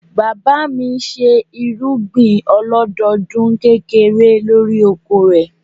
Bàbá mi ṣe irúgbìn ọlọ́dọdún kékeré lórí oko rẹ̀.